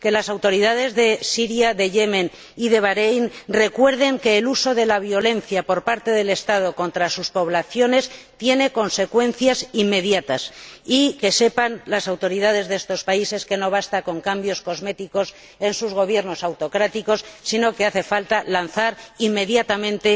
Que las autoridades de Siria, de Yemen y de Bahréin recuerden que el uso de la violencia por parte del Estado contra sus poblaciones tiene consecuencias inmediatas, y que sepan las autoridades de estos países que no basta con cambios cosméticos en sus gobiernos autocráticos, sino que hace falta lanzar inmediatamente